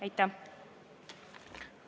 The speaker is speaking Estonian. Aitäh!